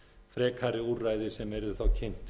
frekari úrræði sem yrðu þá kynnt